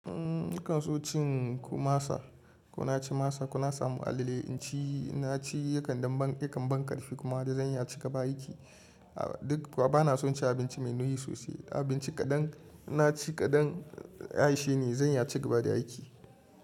Umm, nakan so cin kumasa. Kuna cin masa, kuna samun alale. In ci, in na ci yakan ban, yakan ban ƙarfi kuma da zan iya ciga ba aiki. A duk, kuma ba na son cin abinci mai nauyi sosai. Abinci kaɗan, in na ci kaɗan, ya isheni, zan iya cigaba da aiki.